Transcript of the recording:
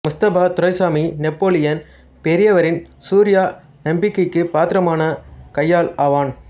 Mustafa Duraisamy Napoleon பெரியவரின் சூர்யா நம்பிக்கைக்கு பாத்திரமான கையாள் ஆவான்